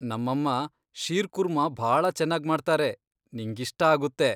ನಮ್ಮಮ್ಮ ಶೀರ್ಕುರ್ಮಾ ಭಾಳ ಚೆನ್ನಾಗ್ಮಾಡ್ತಾರೆ, ನಿಂಗಿಷ್ಟ ಆಗುತ್ತೆ.